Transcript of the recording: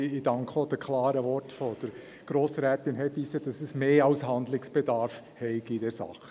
Ich danke auch für die klaren Worte von Grossrätin Hebeisen, dass es mehr als Handlungsbedarf gebe in dieser Sache.